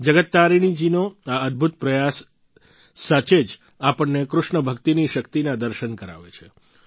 જગત તારીણી જી નો આ અદભૂત પ્રયાસ સાચે જ આપણને કૃષ્ણ ભક્તિની શક્તિના દર્શન કરાવે છે